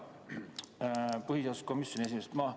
Hea põhiseaduskomisjoni esimees!